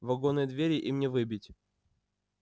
вагонные двери им не выбить